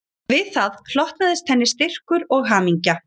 Við það hlotnaðist henni styrkur og hamingja